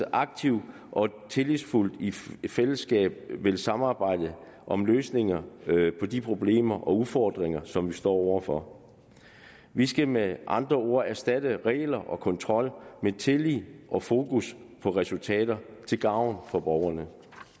aktivt tillidsfuldt og i fællesskab vil samarbejde om løsninger på de problemer og udfordringer som vi står over for vi skal med andre ord erstatte regler og kontrol med tillid og fokus på resultater til gavn for borgerne